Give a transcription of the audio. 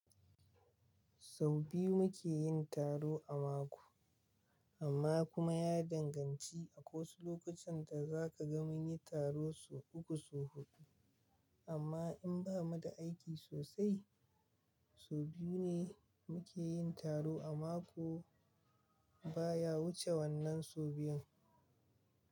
Sau biyu muke yin taro a mako, amma kuma ya danganci. Akwai wasu lokutan da za ka ga mun yi taro sau uku, sau huɗu, amma in ba mu da aiki sosai, sau biyu ne muke yin taro a mako. Ba ya wuce wannan sau biyun.